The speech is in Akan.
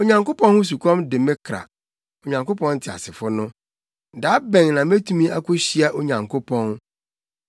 Onyankopɔn ho sukɔm de me kra, Onyankopɔn teasefo no. Da bɛn na metumi akohyia Onyankopɔn?